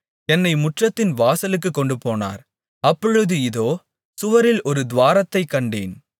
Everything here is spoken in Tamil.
என்னை முற்றத்தின் வாசலுக்குக் கொண்டுபோனார் அப்பொழுது இதோ சுவரில் ஒரு துவாரத்தைக் கண்டேன்